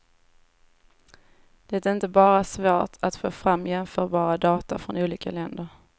Det är inte bara svårt att få fram jämförbara data från olika länder.